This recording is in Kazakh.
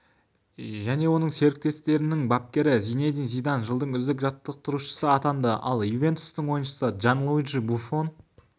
және оның серіктестерінің бапкері зинедин зидан жылдың үздік жаттықтырушысы атанды ал ювентустың ойыншысы джанлуиджи буффон